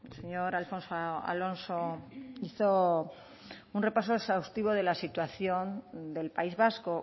señor alfonso alonso hizo un repaso exhaustivo de la situación del país vasco